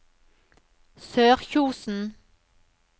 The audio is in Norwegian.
Sørkjosen